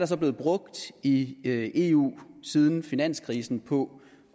så blevet brugt i eu siden finanskrisen på